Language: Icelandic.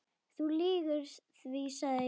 Þú lýgur því, sagði Jón.